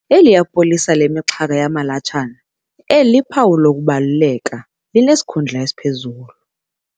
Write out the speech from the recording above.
Eliya polisa lemixhaka yamalatshana eliphawu lokubaluleka linesikhundla esiphezulu.